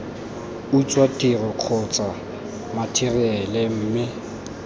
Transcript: utswa tiro kgotsa matheriale mme